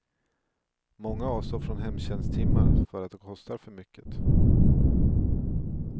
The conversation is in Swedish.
Många avstår från hemtjänsttimmar för att de kostar för mycket.